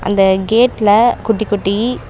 இந்த கேட்ல குட்டி குட்டி--